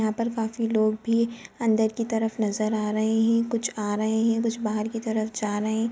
यहाँ पर काफी लोग भी अंदर की तरफ नजर आ रहे है कुछ आ रहे है और कुछ बाहर की तरफ जा रहे है।